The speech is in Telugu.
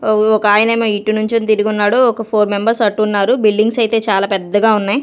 ఒ ఒకాయనేమో ఇటు నుంచొని తిరిగి ఉన్నాడు ఒక ఫోర్ మెంబర్స్ అటు ఉన్నారు బిల్డింగ్స్ అయితే చాలా పెద్దగా ఉన్నాయి.